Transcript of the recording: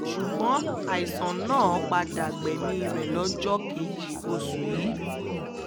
ṣùgbọ́n àìsàn náà padà gbẹ̀mí rẹ̀ lọ́jọ́ kejì oṣù yìí